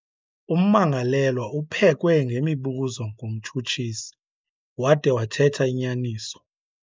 Ummangalelelwa uphekwe ngemibuzo ngumtshutshisi wade wathetha inyaniso.